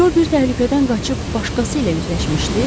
Co bir təhlükədən qaçıb başqası ilə üzləşmişdi.